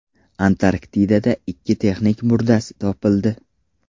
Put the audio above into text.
Antarktidada ikki texnik murdasi topildi.